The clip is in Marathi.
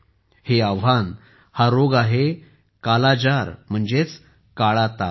हे आव्हान हा रोग आहे कालाजार म्हणजेच काळा ताप